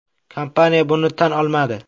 Kompaniya buni tan olmadi.